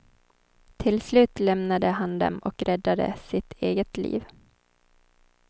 Till slut lämnade han dem och räddade sitt eget liv.